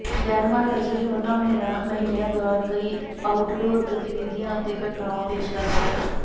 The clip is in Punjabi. ਡੈਨਮਾਰਕ ਅਜੇ ਵੀ ਉਨ੍ਹਾਂ ਮਹੀਨਿਆਂ ਦੌਰਾਨ ਕਈ ਆਊਟਡੋਰ ਗਤੀਵਿਧੀਆਂ ਅਤੇ ਘਟਨਾਵਾਂ ਪੇਸ਼ ਕਰਦਾ ਹੈ